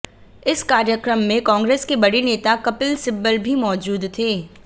इस कार्यक्रम में कांग्रेस के बड़े नेता कपिल सिब्बल भी मौजूद थे